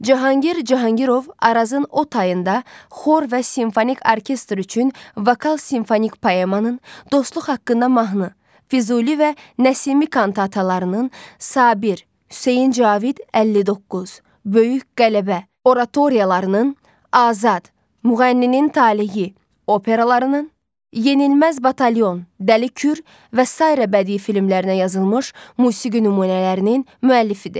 Cahangir Cahangirov Arazın o tayında xor və simfonik orkestr üçün vokal simfonik poemanın, Dostluq haqqında mahnı, Füzuli və Nəsimi kantatalarının, Sabir, Hüseyn Cavid 59, Böyük Qələbə oratoriyalarının, Azad, Müğənninin talehi operalarının, yenilməz batalyon, Dəli Kür və sair bədii filmlərinə yazılmış musiqi nümunələrinin müəllifidir.